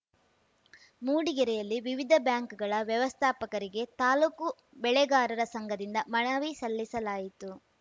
ಮೂಡಿಗೆರೆಯಲ್ಲಿ ವಿವಿಧ ಬ್ಯಾಂಕ್‌ಗಳ ವ್ಯವಸ್ಥಾಪಕರಿಗೆ ತಾಲೂಕು ಬೆಳೆಗಾರರ ಸಂಘದಿಂದ ಮನವಿ ಸಲ್ಲಿಸಲಾಯಿತು